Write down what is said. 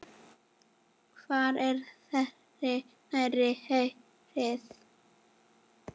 Hvert er ferð þinni heitið?